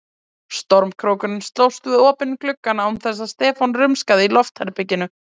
Stormkrókurinn slóst við opinn gluggann án þess að Stefán rumskaði í loftherberginu.